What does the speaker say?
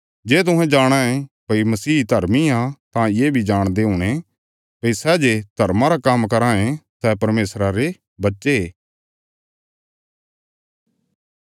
जे तुहें जाणाँ ये भई मसीह धर्मी आ तां ये बी जाणदे हुणे भई सै जे धर्मा रा काम्म कराँ ये सै परमेशरा रे बच्चे